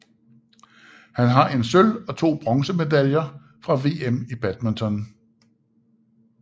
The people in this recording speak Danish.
Han har en sølv og to bronzemedaljer fra VM i badminton